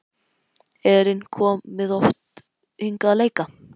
Elín: Komið þið oft hingað að leika?